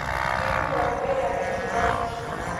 Ketiwua Mikai layieni yorok